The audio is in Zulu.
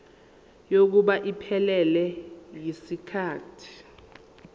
kokuba iphelele yisikhathi